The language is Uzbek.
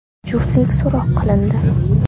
Juftlik so‘roq qilindi.